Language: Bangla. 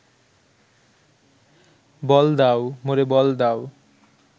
বল দাও মোরে বল দাও